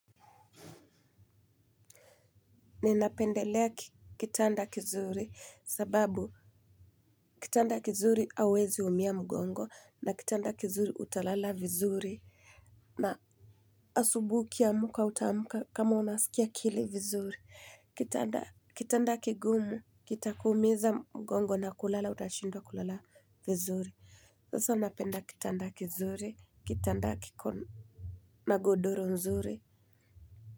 Ninapendelea kitanda kizuri, sababu kitanda kizuri hauwezi umia mgongo, na kitanda kizuri utalala vizuri. Na asubuhi ukiamka utaamka kama unaskia akili vizuri. Kitanda-- kitanda kigumu kita kuumiza mgongo na kulala utashindwa kulala vizuri. Sasa napenda kitanda kizuri, kitanda kiko na godoro nzuri.